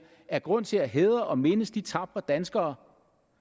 er grund til at hædre og mindes de tapre danskere